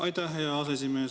Aitäh, hea aseesimees!